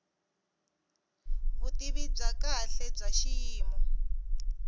vutivi bya kahle bya xiyimo